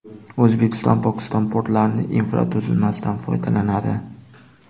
O‘zbekiston Pokiston portlarining infratuzilmasidan foydalanadi.